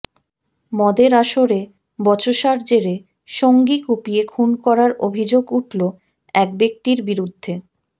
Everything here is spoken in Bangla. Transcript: মদের আসরে বচসার জেরে সঙ্গী কুপিয়ে খুন করার অভিযোগ উঠল এক ব্যক্তির বিরুদ্ধে